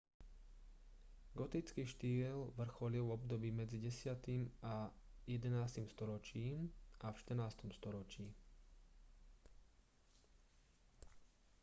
gotický štýl vrcholil v období medzi 10. a 11. storočím a v 14. storočí